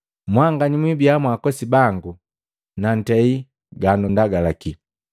Mwanganya mwibia mwaakosi bangu nantei ganundagalaki.